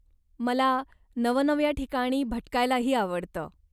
मला नवनव्या ठिकाणी भटकायलाही आवडतं.